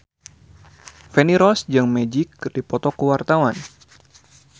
Feni Rose jeung Magic keur dipoto ku wartawan